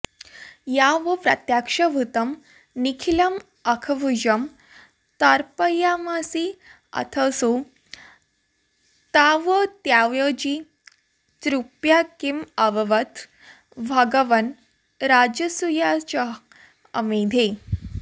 यावत्प्रत्यक्ष भूतं निखिलमखभुजं तर्पयामासिथासौ तावत्यायोजि तृप्त्याकिमुवद भघवन् राजसूयाश्वमेधे